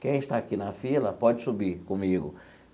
Quem está aqui na fila pode subir comigo.